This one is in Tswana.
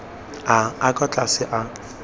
a a kwa tlase a